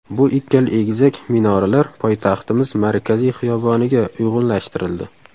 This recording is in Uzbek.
Bu ikkala egizak minoralar poytaxtimiz markaziy xiyoboniga uyg‘unlashtirildi.